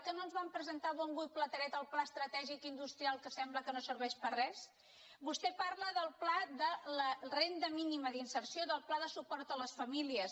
que no ens van presentar a bombo i platerets el pla estratègic industrial que sembla que no serveix per a res vostè parla del pla de la renda mínima d’inserció del pla de suport a les famílies